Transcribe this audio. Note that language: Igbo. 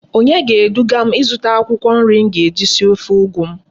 Onye ga edugam izuta akwukwo nri m ga eji esi ofe ugu m?